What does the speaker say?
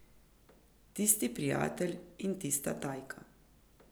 Tisti prijatelj in tista Tajka.